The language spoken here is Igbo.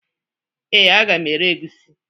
Ee, a ga m ere egusi